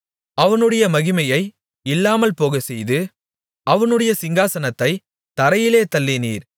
அவனுடைய மகிமையை இல்லாமல்போகச்செய்து அவனுடைய சிங்காசனத்தைத் தரையிலே தள்ளினீர்